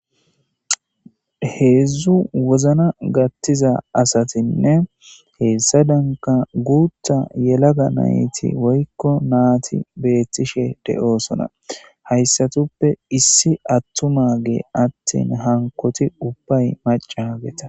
Heedzdzu wozna gattiza asatinne heessa danka guutha yelaga nayti woykko naati beettishe de7oosona hayssatuppe issi attuma gee attin hankoti ubbay macahageta